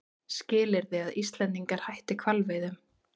Skilyrði að Íslendingar hætti hvalveiðum